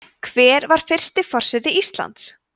hver var fyrsti forseti íslands